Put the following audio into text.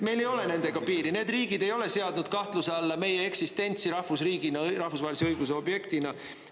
Meil ei ole nendega piiri, need riigid ei ole seadnud kahtluse alla meie eksistentsi rahvusriigina, rahvusvahelise õiguse objektina.